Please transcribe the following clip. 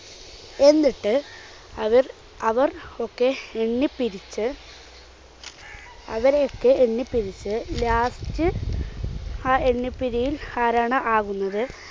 എന്നിട്ട് അവർഅവർ ഒക്കെ എണ്ണിപ്പിരിച്ച് അവരെയൊക്കെ എണ്ണിപ്പിരിച്ച് last ആ എണ്ണിപ്പിരിയിൽ ആരാണോ ആകുന്നത്